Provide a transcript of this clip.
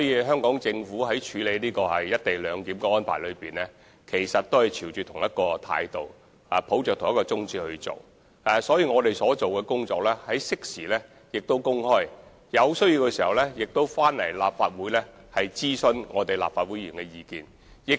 香港政府在處理"一地兩檢"安排時，亦是以同一態度及宗旨行事，適時把我們所做的工作公開，並在有需要時徵詢立法會議員的意見。